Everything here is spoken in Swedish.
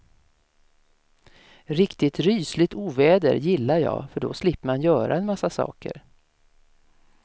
Riktigt rysligt oväder gillar jag, för då slipper man göra en massa saker.